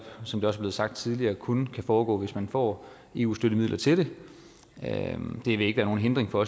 som det også er blevet sagt tidligere kun kan foregå hvis man får eu støttemidler til det det vil ikke være nogen hindring for